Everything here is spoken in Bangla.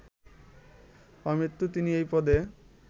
আমৃত্যু তিনি এই পদে